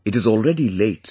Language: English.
It is already late